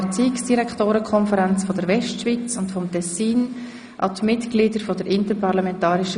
Ich gebe Herrn Grossrat Gasser als Kommissionssprecher das Wort.